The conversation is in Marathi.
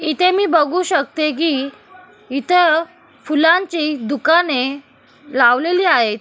इथे मी बघू शकते कि इथ फुलांची दुकाने लावलेली आहेत.